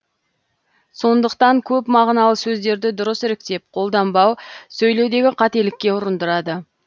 сондықтан көпмағыналы сөздерді дұрыс іріктеп қолданбау сөйлеудегі қателікке ұрындырады